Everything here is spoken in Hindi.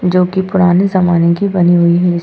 जो कि पुराने जमाने की बनी हुई है।